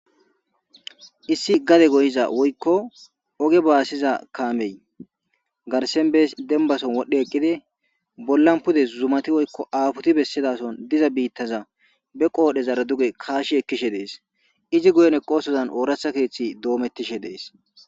issi gade goyiza woykko oge baasiza kaamey garsenbees dembason wodhdhe eqqide bollan pude zumati woykko aafuti bessidason diza biittaza be qoodhe zara duge kaashi ekkishe dees izi guyen eqosozan ooratha keeththi doomettishe dees